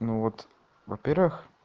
ну вот во-первых